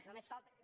només falta que